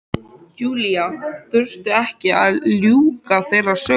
Júlía þurfti ekki að ljúka þeirri sögu.